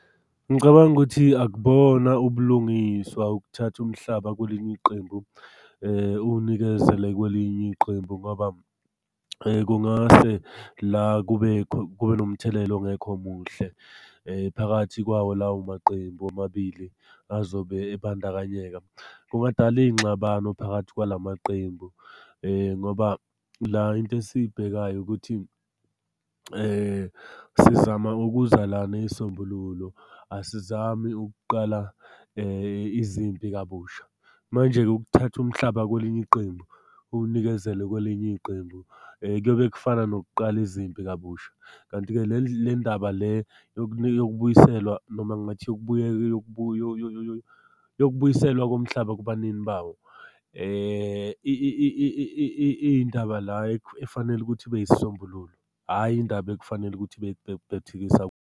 Ngicabanga ukuthi akubona ubulungiswa ukuthatha umhlaba kuleli qembu uwunikezele kwelinye iqembu, ngoba kungase la kube kube nomthelela ongekho muhle. Phakathi kwawo lawo maqembu omabili azobe ebandakanyeka, kungadala iy'ngxabano phakathi kwalawo maqembu, ngoba la into esiyibhekayo ukuthi sizama ukuza la ney'sombululo, asizami ukuqala izimpi kabusha. Manje-ke ukuthatha umhlaba kwelinye iqembu, uwunikezele kwelinye iqembu kuyobe kufana nokuqala izimpi kabusha, kanti-ke le ndaba le yokubuyiselwa noma ngathi yokubuyiselwa komhlaba kubanini bawo iy'ndaba la efanele ukuthi ibe yisisombululo, hhayi indaba ekufanele ukuthi .